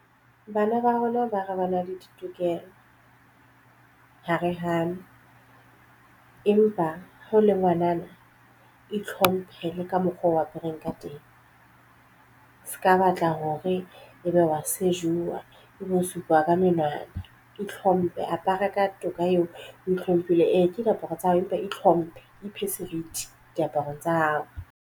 Bana ba rona ba re ba na le ditokelo ha re hano empa ha o le ngwanana e tlhomphe le ka mokgwa o apereng ka teng se ka batla hore ebe wa sejuwa e bosupa ka menwana e hlomphe apara ka toka eo o ihlomphile eke diaparo tsa hao empa ihlomphe ephe seriti diaparong tsa hao.